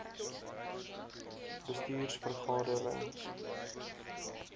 bestuurs vergade rings